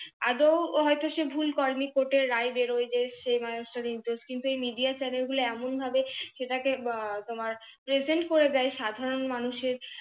আদৌ সে হয় তো ভুলটা করেনি কোটের রাই বেরোয় যে সে মানুষটা নির্দশ। কিন্তু এই MIDEA CHANNEL গুলো এমনভাবে সেটাকে আহ তোমার PRESENT করে দেয় সাধারণ মানুষের